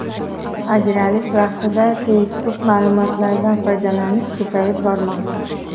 Ajralish vaqtida Facebook ma’lumotlaridan foydalanish ko‘payib bormoqda.